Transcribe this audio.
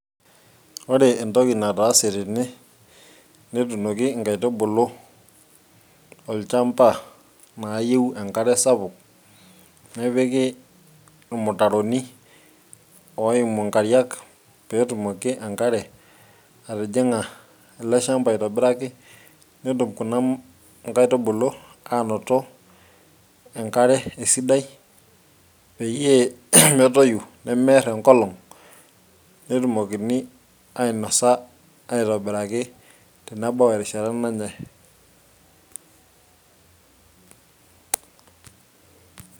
Ore entoki nataase tene netuunoki inkaitubulu tolchampa naayieu enkare sapuk nepiki irmutaroni oimu inkariak pee etumoki enkare atijing'a ele shampa aitobiraki netum kuna nkaitubulu aanoto enkare asidai peyiee metoyu nemeerr enkolong' netumokini ainosa aitobiraki tenebau erishata nanyae.